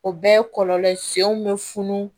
O bɛɛ ye kɔlɔlɔ senw bɛ funun